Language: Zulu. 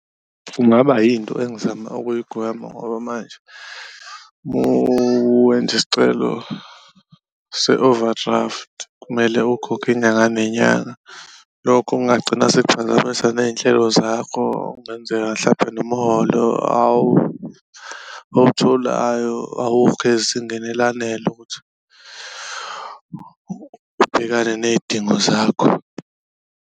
Kungaba yinto engizama ukuyigwema ngoba manje uma wenza isicelo se-overdraft kumele ukhokhe inyanga nenyanga, lokho okungagcina sekuphazamisa ney'nhlelo zakho. Okungenzeka hlampe nomholo owutholayo awukho ezingeni elanele ukuthi ubhekane ney'dingo zakho.